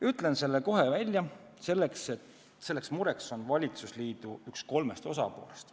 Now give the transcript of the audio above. Ütlen selle kohe välja: seda muret tekitab üks kolmest valitsusliidu osapoolest.